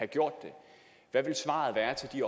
gjort det hvad vil svaret være til de